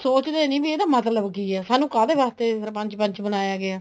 ਸੋਚਦੇ ਨਹੀਂ ਇਹਦਾ ਮਤਲਬ ਕੀ ਹੈ ਸਾਨੂੰ ਕਾਹਦੇ ਵਾਸਤੇ ਸਰਪੰਚ ਪੰਚ ਬਣਾਇਆ ਗਿਆ ਹੈ